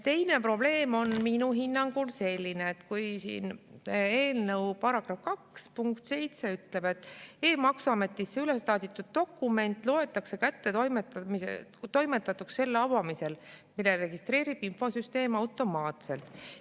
Teine probleem on minu hinnangul selline, et siin eelnõu § 2 punkt 7 ütleb, et e‑maksuametisse üleslaaditud dokument loetakse kättetoimetatuks selle avamisel, mille registreerib infosüsteem automaatselt.